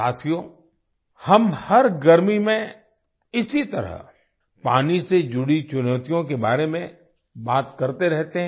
साथियो हम हर गर्मी में इसी तरह पानी से जुड़ी चुनौतियों के बारे में बात करते रहते हैं